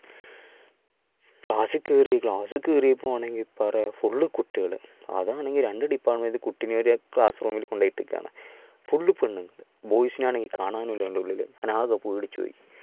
class കേറി, class കേറിയപ്പോഴാണേ full കുട്ടികൾ. അതാണെ രണ്ട് department കുട്ടികളെ class room ൽ കൊണ്ടായിട്ടിക്കാണ്. full പെണ്ണ് boys നെ ആണേൽ കാണാനും ഇല്ല അതിൻ്റെ ഉള്ളിൽ, ഞാൻ ആകെ പേടിച്ചു പോയി,